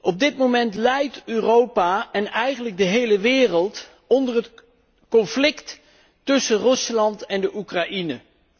Op dit moment lijdt Europa en eigenlijk de hele wereld onder het conflict tussen Rusland en de Oekraïne.